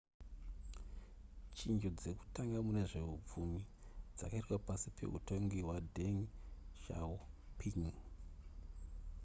chinjo dzekutanga mune zvehupfumi dzakaitwa pasi pehutongi hwadeng xiaoping